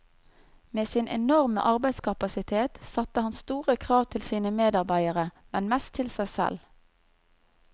Med sin enorme arbeidskapasitet satte han store krav til sine medarbeidere, men mest til seg selv.